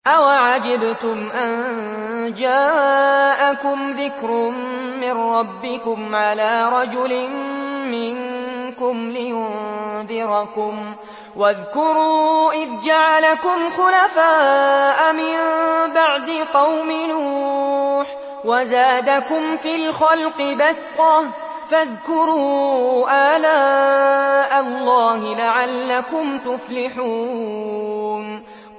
أَوَعَجِبْتُمْ أَن جَاءَكُمْ ذِكْرٌ مِّن رَّبِّكُمْ عَلَىٰ رَجُلٍ مِّنكُمْ لِيُنذِرَكُمْ ۚ وَاذْكُرُوا إِذْ جَعَلَكُمْ خُلَفَاءَ مِن بَعْدِ قَوْمِ نُوحٍ وَزَادَكُمْ فِي الْخَلْقِ بَسْطَةً ۖ فَاذْكُرُوا آلَاءَ اللَّهِ لَعَلَّكُمْ تُفْلِحُونَ